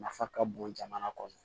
Nafa ka bon jamana kɔnɔ